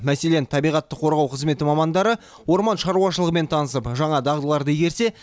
мәселен табиғатты қорғау қызметі мамандары орман шаруашылығымен танысып жаңа дағдыларды игерсе